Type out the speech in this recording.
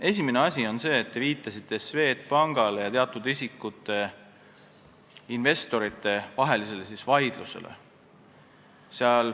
Esimene asi on see, et te viitasite Swedbanki ning teatud investorite vahelisele vaidlusele.